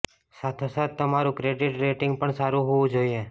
સાથો સાથ તમારું ક્રેડિટ રેટિંગ પણ સારું હોવું જોઇએ